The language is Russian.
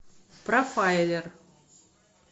профайлер